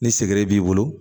Ni segere b'i bolo